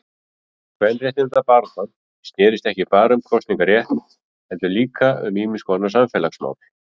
Kvenréttindabaráttan snérist ekki bara um kosningarétt heldur líka um ýmiskonar samfélagsmál.